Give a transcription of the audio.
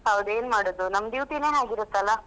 ಹೌದು ಏನು ಮಾಡುವುದು ನಮ್ಮ duty ನೇ ಹಾಗಿರುತಲ್ಲ.